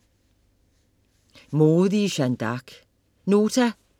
Modige Jeanne D´Arc